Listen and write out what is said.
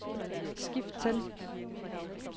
skift til